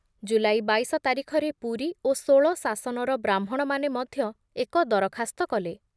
ଜୁଲାଇ ବାଇଶ ତାରିଖରେ ପୁରୀ ଓ ଷୋଳ ଶାସନର ବ୍ରାହ୍ମଣମାନେ ମଧ୍ୟ ଏକ ଦରଖାସ୍ତ କଲେ ।